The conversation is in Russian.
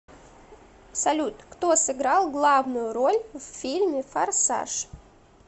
салют кто сыграл главную роль в фильме форсаж